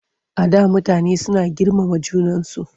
Before people were so respectful of one another.